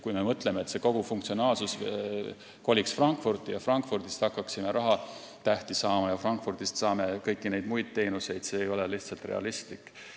Kui me mõtleme, et kogu funktsionaalsus võiks kolida Frankfurti, nii et Frankfurdist hakkaksime saama rahatähti ja kõiki muid teenuseid, siis see ei ole lihtsalt realistlik.